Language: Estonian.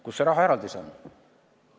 Kus see rahaeraldis on?